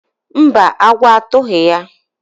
mba, agwọ atụghị ya.